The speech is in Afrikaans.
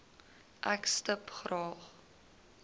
ek stip graag